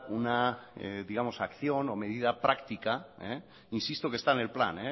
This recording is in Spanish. una acción o medida práctica insisto que está en el plan